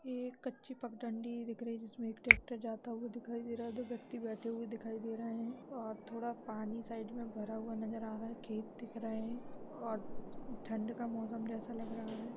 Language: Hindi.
ये एक कच्ची पघ डंडी दिख रही है जिस में एक ट्रेक्टर जाता हुआ दिखी दे रहा है दो व्यक्ति बैठे हुए दिखा दी रहे है और थोड़ा पानी साइड में पानी भरा हुआ नजर आ रहा है खेत दिख रहा है और ठंड का मौसम जैसा लग रहा है।